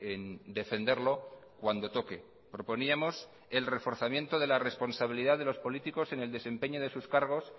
en defenderlo cuando toque proponíamos el reforzamiento de la responsabilidad de los políticos en el desempeño de sus cargos